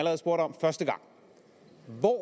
hvor